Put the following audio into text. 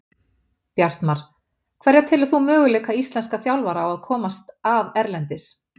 Bjartmar Hverja telur þú möguleika íslenskra þjálfara á að komast að erlendis?